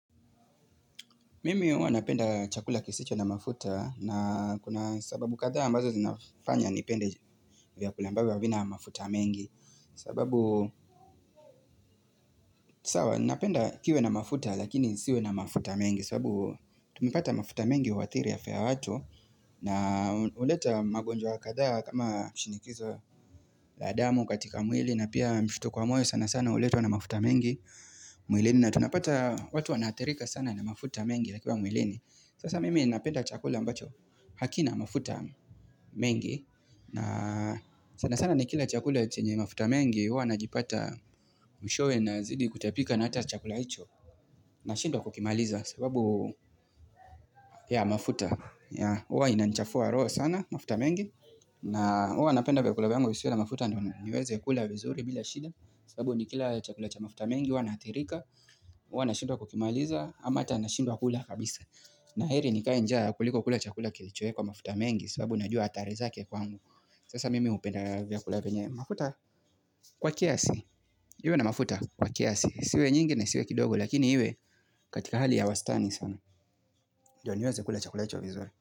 Mimi huwa napenda chakula kisicho na mafuta na kuna sababu kadhaa ambazo zinafanya nipende vyakula ambavyo havina mafuta mengi sababu sawa napenda kiwe na mafuta lakini isiwe na mafuta mengi sababu tumepata mafuta mengi huadhiri afya ya watu na huleta magonjwa kadhaa kama shinikizo la damu katika mwili na pia mshtuko wa moyo sana sana uletwa na mafuta mengi mwilini na tunapata watu wanaathirika sana na mafuta mengi yakiwa mwilini Sasa mimi napenda chakula ambacho hakina mafuta mengi na sana sana nikila chakula chenye mafuta mengi Uwa na jipata mwishowe na zidi kutapika na hata chakula hicho na shindwa kukimaliza sababu ya mafuta hUwa inanichafua roho sana mafuta mengi na huwa napenda vyakula vyangu visiwe na mafuta Ndio niweze kula vizuri bila shida sababu nikila chakula cha mafuta mengi Uwa na hathirika huwa na shindwa kukimaliza ama ata na shindwa kula kabisa na heri ni kaenjaa kuliko kula chakula kilichoekwa mafuta mengi sababu najua athari zake kwangu Sasa mimi hupenda vyakula vyenye mafuta? Kwa kiasi Iwe na mafuta? Kwa kiasi isiwe nyingi na isiwe kidogo Lakini iwe katika hali ya wastani sana Ndio niweze kula chakula hicho vizuri.